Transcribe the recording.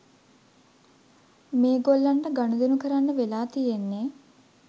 මේගොල්ලන්ට ගනුදෙනු කරන්න වෙලා තියෙන්නේ